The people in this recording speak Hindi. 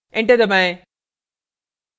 enter दबाएं